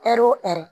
Ɛri o ɛri